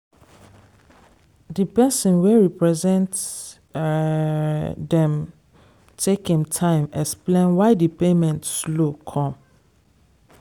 di person wey represent um dem take im time explain why di payment slow come.